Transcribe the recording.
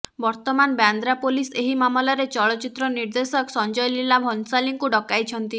ବର୍ତ୍ତମାନ ବାନ୍ଦ୍ରା ପୋଲିସ ଏହି ମାମଲାରେ ଚଳଚ୍ଚିତ୍ର ନିର୍ଦ୍ଦେଶକ ସଞ୍ଜୟ ଲୀଲା ଭନସାଲୀଙ୍କୁ ଡକାଇଛନ୍ତି